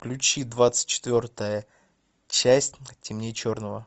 включи двадцать четвертая часть темнее черного